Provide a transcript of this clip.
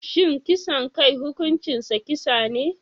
Shin kisan kai hukuncinsa kisa ne?